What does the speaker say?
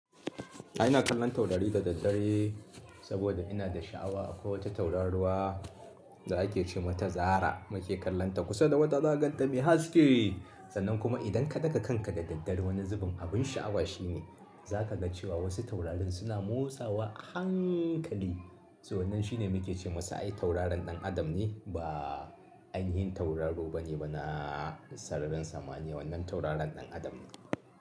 A'a ina kallon taurari da daddare saboda ina da sha'awa akwai wata tauraruwa da ake ce mata Zarah muke kallonta kusa da wata zaka ganta mai haske. Sannan kuma idan ka daga kanka da daddare wani zubin abin sha'awa shine za ka ga cewa wasu taurarin suna motsawa a hankali. To wannan shine muke ce masa ai tauraron ɗan adam ne ba ainihin tauraro ba ne ba na sararin samaniya wannan tauraron ɗan adam ne.